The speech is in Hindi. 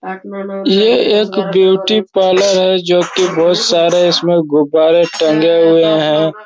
ये एक ब्यूटी पार्लर है जो की बहोत सारे इसमें गुब्बारे टंगे हुए हैं ।